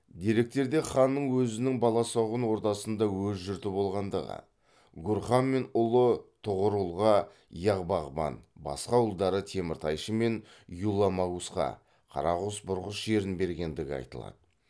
деректерде ханның өзінің баласұғын ордасында өз жұрты болғандығы гурхан мен ұлы тұғырұлға яғ бағбан басқа ұлдары теміртайшы мен юла магусқа қарағұс бұрғыс жерін бергендігі айтылады